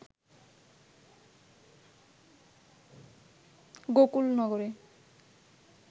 গোকুল নগরে